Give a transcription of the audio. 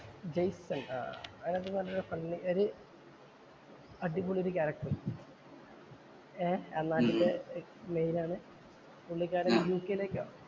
Jason‍ ആഹ് അതിനകത്ത്ന്ന് പറഞ്ഞാ ഒരുഫണ്ണി ഒരു അടിപൊളി ഒരു ക്യാരക്ടര്‍ ഏർ അന്നാട്ടിലെ ആണ്. പുള്ളിക്കാരന്‍ യു കെ യിലേക്ക്